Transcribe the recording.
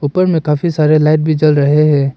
उपर में काफी सारे लाइट भी जल रहे हैं।